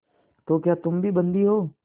तो क्या तुम भी बंदी हो